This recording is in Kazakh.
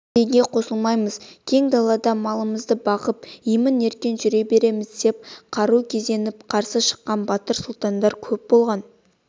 ресейге қосылмаймыз кең далада малымызды бағып емен-еркін жүре береміз деп қару кезеніп қарсы шыққан батыр-сұлтандар көп болған